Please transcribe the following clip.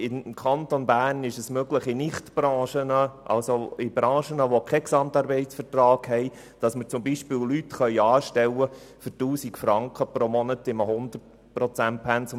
Ich Kanton Bern ist es möglich, in Branchen, in welchen es keinen GAV gibt, Leute zu 100 Prozent für einen Lohn von 1000 Franken anzustellen.